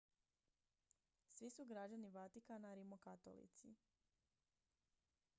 svi su građani vatikana rimokatolici